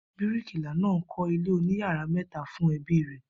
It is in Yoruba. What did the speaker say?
Bíríkìlá náà ń kó̩ ilé oníyàrá mè̩ta fún e̩bí rè̩